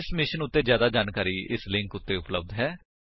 ਇਸ ਮਿਸ਼ਨ ਉੱਤੇ ਜਿਆਦਾ ਜਾਣਕਾਰੀ ਇਸ ਲਿੰਕ ਉੱਤੇ ਉਪਲੱਬਧ ਹੈ